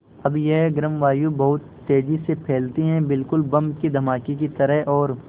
अब यह गर्म वायु बहुत तेज़ी से फैलती है बिल्कुल बम के धमाके की तरह और